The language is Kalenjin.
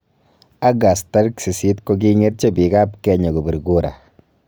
August tarik sisit, kokingetyo piik ap. Kenya kopir kura